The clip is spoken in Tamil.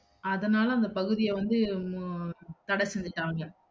அதன்னால அந்த பகுதிய வந்து உம் தட செஞ்சுட்டாங்க